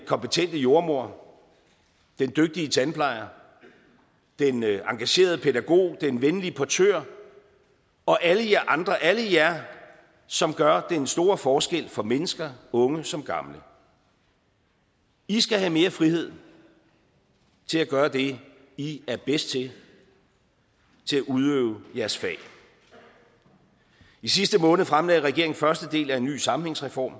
kompetente jordemoder den dygtige tandplejer den engagerede pædagog den venlige portør og alle jer andre alle jer som gør den store forskel for mennesker unge som gamle i skal have mere frihed til at gøre det i er bedst til til at udøve jeres fag i sidste måned fremlagde regeringen første del af en ny sammenhængsreform